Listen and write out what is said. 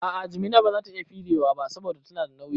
A'a, jimina bazata iya firewa ba saboda tana da nauyi